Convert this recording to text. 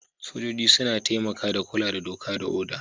Sojoji suna taimaka da kula da doka ko oda.